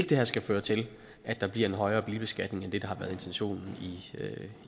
det her skal føre til at der bliver en højere bilbeskatning end det har været intentionen